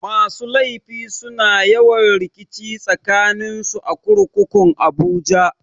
Masu laifi suna yawan rikici tsakanin su a kurkukun abuja.